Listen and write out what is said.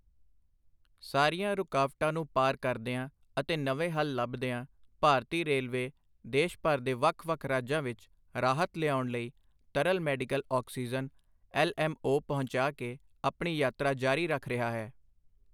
ਸਾਰੀਆਂ ਰੁਕਾਵਟਾਂ ਨੂੰ ਪਾਰ ਕਰਦੀਆਂ ਅਤੇ ਨਵੇਂ ਹੱਲ ਲੱਭਦੀਆਂ, ਭਾਰਤੀ ਰੇਲਵੇ ਦੇਸ਼ ਭਰ ਦੇ ਵੱਖ-ਵੱਖ ਰਾਜਾਂ ਵਿੱਚ ਰਾਹਤ ਲਿਆਉਣ ਲਈ ਤਰਲ medical oxygen L M O ਪਹੁੰਚਾ ਕੇ ਆਪਣੀ ਯਾਤਰਾ ਜਾਰੀ ਰੱਖ ਰਿਹਾ ਹੈ।